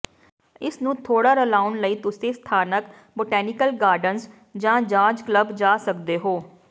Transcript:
ਇਸ ਨੂੰ ਥੋੜਾ ਰਲਾਉਣ ਲਈ ਤੁਸੀਂ ਸਥਾਨਕ ਬੋਟੈਨੀਕਲ ਗਾਰਡਨਜ਼ ਜਾਂ ਜਾਜ਼ ਕਲੱਬ ਜਾ ਸਕਦੇ ਹੋ